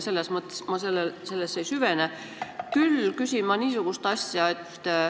Sellesse ei süvene, küll küsin ma niisugust asja.